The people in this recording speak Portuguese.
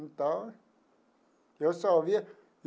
Então, eu só via.